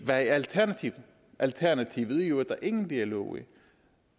hvad er alternativet alternativet er jo at der ingen dialog er